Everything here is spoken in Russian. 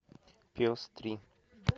пес три